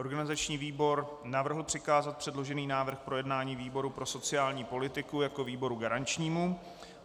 Organizační výbor navrhl přikázat předložený návrh k projednání výboru pro sociální politiku jako výboru garančnímu.